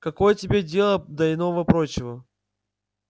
какое тебе дело до иного-прочего